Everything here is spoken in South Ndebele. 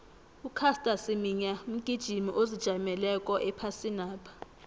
ucaster semenya mgijimi ozijameleko ephasinapha